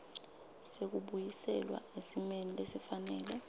sekubuyiselwa esimeni lesifanele